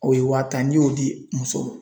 O ye wa tan ni y'o di muso mɔ.